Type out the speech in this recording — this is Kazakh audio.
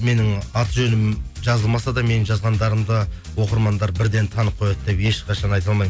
менің аты жөнім жазылмаса да менің жазғандарымды оқырмандар бірден танып қояды деп ешқашан айта алмаймын